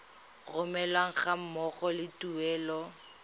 romelwa ga mmogo le tuelo